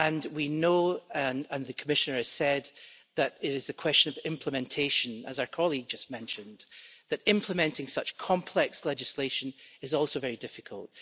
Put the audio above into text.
We know, and the Commissioner has said, that it is a question of implementation and, as our colleague just mentioned, implementing such complex legislation is also very difficult.